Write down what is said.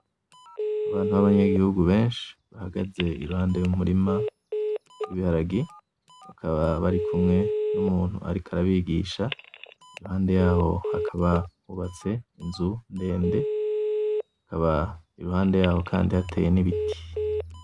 Abantu b'abanyagihugu benshi bahagaze iruhande y'umurima w'ibiharage , bakaba bari barikumwe n'umuntu ariko arabigisha , impande yaho hakaba hubatse inzu ndende , hakaba iruhande yaho kandi hateye n'ibiti.